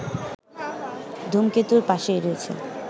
ধূমকেতুর পাশেই রয়েছে